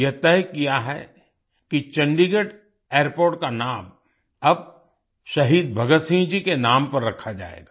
यह तय किया है कि चंडीगढ़ एयरपोर्ट का नाम अब शहीद भगत सिंह जी के नाम पर रखा जाएगा